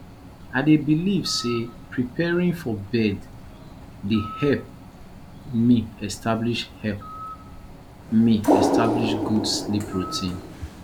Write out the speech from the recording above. i dey believe say preparing for bed dey help me establish help me establish good sleep routine